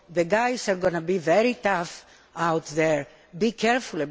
the guys are going to be very tough out there. Be careful.